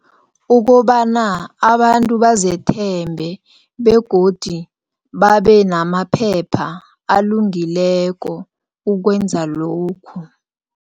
Ukobana abantu bazethembe begodi babe namaphepha alungileko ukwenza lokhu.